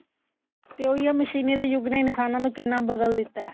ਤੇ ਉਹੀ ਹੈ ਮਸ਼ੀਨੀ ਦੇ ਯੁਗ ਨੇ ਇਨਸਾਨਾ ਨੂੰ ਕਿੰਨਾ ਬਦਲ ਦਿੱਤਾ